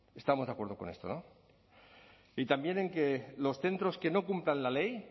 estamos de acuerdo con esto no y también en que los centros que no cumplan la ley